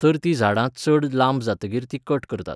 तर तीं झाडां चड लांब जातकीर तीं कट करतात.